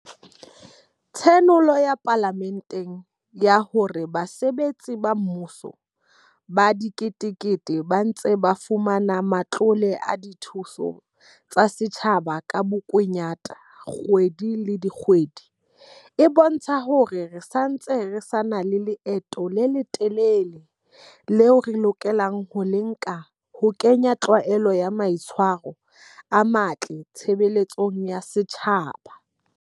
Tshenolo ya Pala menteng ya hore basebetsi ba mmu so ba diketekete ba ntse ba fumana matlole a dithuso tsa setjhaba ka bokunyata kgwedi le kgwedi e bo ntsha hore re ntse re sa na le leeto le le telele leo re lokelang ho le nka ho ke nya tlwaelo ya maitshwa ro a matle tshebeletsong ya setjhaba.